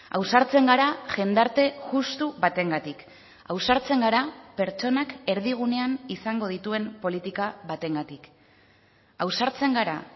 ausartzen gara jendarte justu batengatik ausartzen gara pertsonak erdigunean izango dituen politika batengatik ausartzen gara